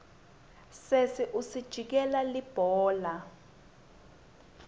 sesi ujikijela libhola